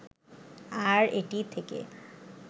আর এটি থেকে